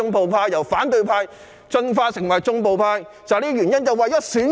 他們由反對派進化成為"縱暴派"正是為了選舉。